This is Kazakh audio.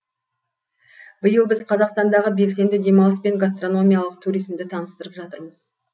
биыл біз қазақстандағы белсенді демалыс пен гастрономиялық туризмді таныстырып жатырмыз